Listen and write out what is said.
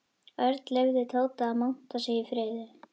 Örn leyfði Tóta að monta sig í friði.